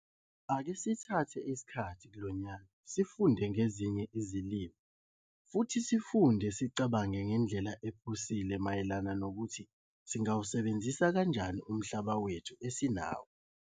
Ake sithathe isikhathi kulo nyaka sifunde ngezinye izilimo futhi sicabange ngendlela ephusile mayelana nokuthi singawusebenzisa kanjani umhlaba wethu esinawo.